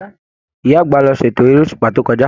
Ìyá àgbà ló ṣ'ètò èrè òṣùpá to kọjá.